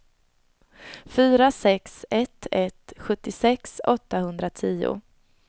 fyra sex ett ett sjuttiosex åttahundratio